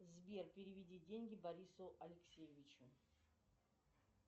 сбер переведи деньги борису алексеевичу